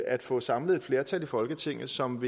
at få samlet et flertal i folketinget som